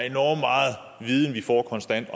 enorm meget viden vi får konstant